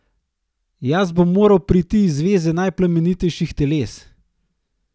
Jaz bom moral priti iz zveze najplemenitejših teles.